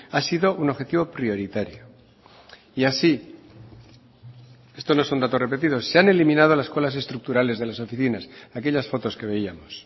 ha sido un objetivo prioritario y así esto no son datos repetidos se han eliminado las colas estructurales de las oficinas aquellas fotos que veíamos